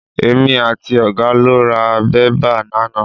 Èmi àti ọ̀gá lọ ra bébà lánàá.